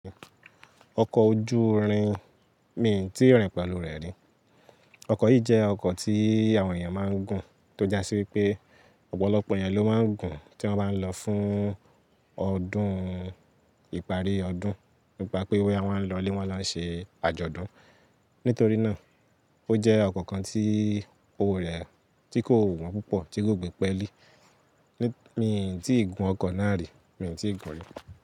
Ọkọ̀ ojú irin, mi tíì rìn pẹ̀lú rẹ̀ rí. Ọkọ̀ yìí jẹ́ ọkọ̀ tí àwọn èèyàn máa ń gùn tó jásí wípé ọ̀pọ̀lọpọ̀ èyan ló máa ń gùn tí wọ́n bá ń lọ fún ọdún ìparí ọdún. Nípa pé bòyà wọ́n lọ lé wọ́n lọ ṣe àjọ̀dún. Nítorí náà, ó jẹ́ ọkọ̀ kan tí òwò rẹ̀ ti kò wọ́n púpọ̀, tí kò gbé pẹ́ẹ́ lí. Mi n tíì gùn ọkọ̀ náà rí, mi n tíì gun rí.